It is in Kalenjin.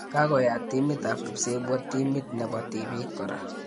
Kakoyat timit ap kipsebwo timit nebo tibik kora